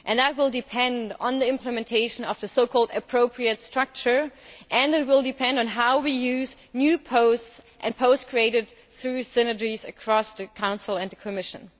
That will depend on the implementation of the appropriate structure', and it will depend on how we use new posts and posts created through synergies across the Council and the Commission.